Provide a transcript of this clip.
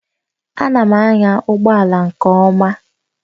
Ana m anya ụgbọ ala nke ọma